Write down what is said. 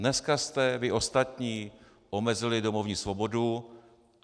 Dneska jste vy ostatní omezili domovní svobodu.